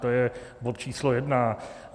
To je bod číslo jedna.